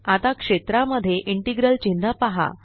आता क्षेत्रा मध्ये इंटेग्रल चिन्ह पहा